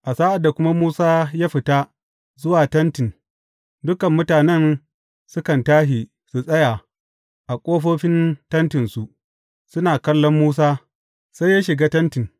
A sa’ad da kuma Musa ya fita zuwa Tentin, dukan mutanen sukan tashi su tsaya a ƙofofin tentinsu, suna kallon Musa, sai ya shiga tentin.